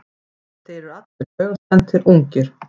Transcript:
Þeir eru allir taugaspenntir, ungir.